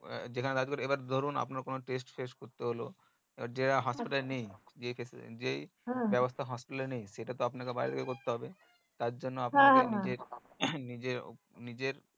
যেখানে এবার ধরুন আপনার কোনো test ফেস্ট করতে হলো এবার যে হাসপাতাল এ নেই যেই ব্যাবস্তা হাসপাতাল এ নেই সেটাতো আপনাকে বাইরে থেকে করতে হবে তার জন্য আপনাকে নিজেই